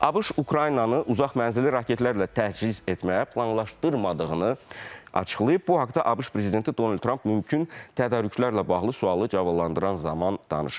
ABŞ Ukraynanı uzaq mənzilli raketlərlə təchiz etməyi planlaşdırmadığını açıqlayıb, bu haqda ABŞ prezidenti Donald Tramp mümkün tədarüklərlə bağlı sualı cavablandıran zaman danışıb.